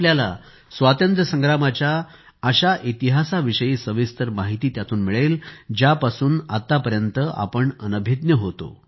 आपल्याला स्वातंत्र्यसंग्रामाच्या अशा इतिहासाविषयी सविस्तर माहिती मिळेल ज्यापासून आतापर्यंत आपण अनाभिज्ञ होते